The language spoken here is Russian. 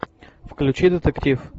включи детектив